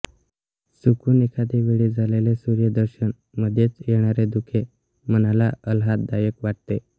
चुकून एखादेवेळी झालेले सूर्यदर्शन मध्येच येणारे धुके मनाला अल्हाददायक वाटते